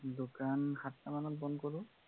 দোকান সাতটা মানত বন্ধ কৰোঁ।